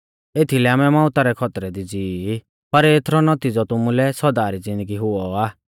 एथीलै आमै मौउता रै खौतरै दी ज़िवी ई पर एथरौ नौतिज़ौ तुमुलै सौदा री ज़िन्दगी हुऔ आ